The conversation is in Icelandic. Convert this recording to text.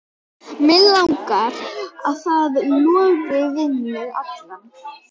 Mig langar að það loði við þig allan.